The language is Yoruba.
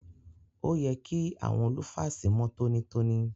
Òye kí àwọn lúfàsì mọ́ tọ́nítọ́ní.